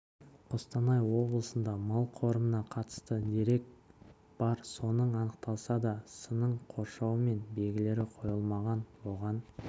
қостанай облысында мал қорымына қатысты дерек бар соның анықталса да сының қоршауы мен белгілері қойылмаған оған